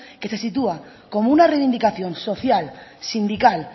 que se sitúa como una reivindicación social sindical